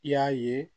I y'a ye